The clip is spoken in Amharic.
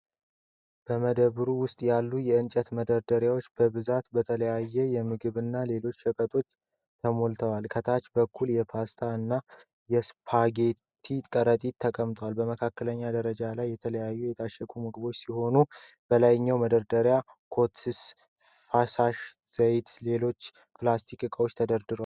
በመደብሩ ውስጥ ያሉት እንጨት መደርደሪያዎች በብዛት በተለያዩ የምግብና ሌሎች ሸቀጣሸቀጦች ተሞልተዋል። ከታች በኩል የፓስታ እና የስፓጌቲ ከረጢቶች ተቆልለዋል። በመካከለኛው ደረጃ ላይ የተለያዩ የታሸጉ ምግቦች ሲኖሩ፣ በላይኛው መደርደሪያ ኦትስ፣ ፈሳሽ ዘይቶችና ሌሎች ፕላስቲክ እቃዎች ተደርድረዋል።